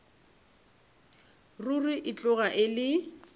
ruri e tloga e le